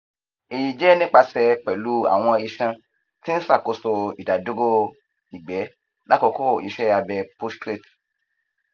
eyi jẹ nipase pẹlu awọn iṣan ti n ṣakoso idaduro igbe lakoko iṣẹ abe prostate